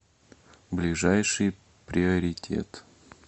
ближайший приоритет